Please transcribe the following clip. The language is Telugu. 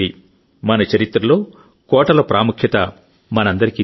మన చరిత్రలో కోటల ప్రాముఖ్యత మనందరికీ తెలుసు